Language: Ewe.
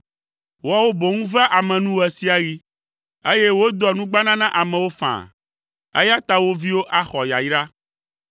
Woawo boŋ vea ame nu ɣe sia ɣi, eye wodoa nugbana na amewo faa; eya ta wo viwo axɔ yayra.